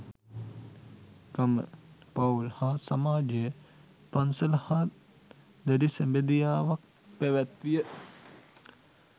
ගම, පවුල් හා සමාජය පන්සල හා දැඬි සැබැඳියාවක් පැවැත්විය.